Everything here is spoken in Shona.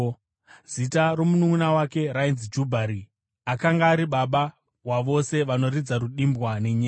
Zita romununʼuna wake rainzi Jubhari; akanga ari baba wavose vanoridza rudimbwa nenyere.